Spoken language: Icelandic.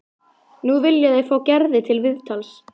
Nú vilja þeir fá Gerði til viðtals.